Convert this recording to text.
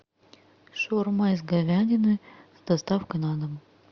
шаурма из говядины с доставкой на дом